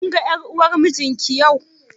Kin ga ƴar uwar mijin ki yau?